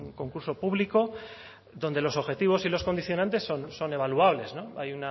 concurso público donde los objetivos y los condicionantes son evaluables hay